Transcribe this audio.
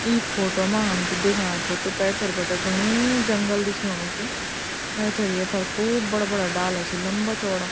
ई photo मा हम जू दिखणा छौ त पैथर बटे घणू जंगल दिखेणु च ऐथर एफर खूब बड़ा बड़ा डाला छिन लंबा चौड़ा।